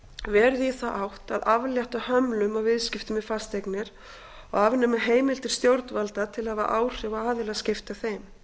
verið í þá átt að aflétta hömlum á viðskiptum með fasteignir og afnema heimildir stjórnvalda til að hafa áhrif á aðilaskipti að þeim